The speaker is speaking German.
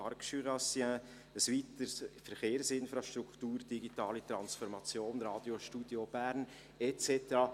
Arc Jurassien, ein weiteres; Verkehrsinfrastruktur, digitale Transformation, Radiostudio Bern et cetera: